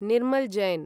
Nirmal Jain